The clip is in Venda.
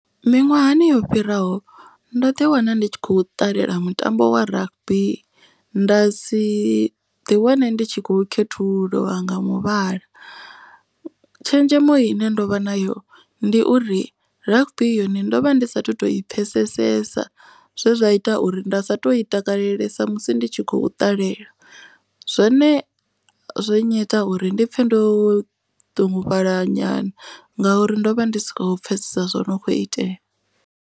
Miṅwahani yo fhiraho ndo ḓi wana ndi tshi kho ṱalela mutambo wa rugby. Nda si ḓi wane ndi tshi khou khethululiwa nga muvhala. Tshenzhemo ine ndovha nayo ndi uri rugby yone ndovha ndi sathu to i pfesesesa zwe zwa ita uri nda sa to i takalelesa musi ndi tshi khou ṱalela. Zwone zwo nnyita uri ndi pfhe ndo ṱungufhala nyana ngauri ndo vha ndi si khou pfesesa zwo no kho itea.